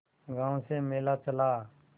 गांव से मेला चला